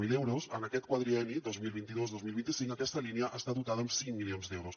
zero euros en aquest quadrienni dos mil vint dos dos mil vint cinc aquesta línia està dotada amb cinc milions d’euros